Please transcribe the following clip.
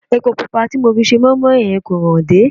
Epo pupa tí mo fi se mọ́ín-mọ́ín yẹn kò hànde